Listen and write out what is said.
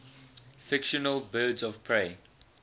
fictional birds of prey